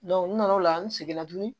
n nana o la n seginna tuguni